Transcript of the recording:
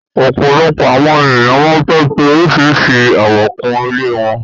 Òpọ́lọ́pọ́ àwọn ènìyàn máa fẹ́ fì oríṣíṣírí àwò kún ilẹ̀ wọn